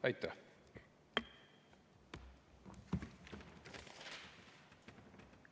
Aitäh!